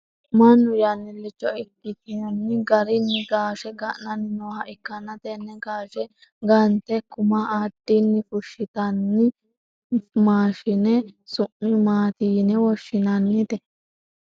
mannu yannilicho ikkitino garinni gaashe ga'nanni nooha ikkanna, tenne gaashe gante kuma addinni fushshitanno maashine su'mi maati yine woshshinannite ?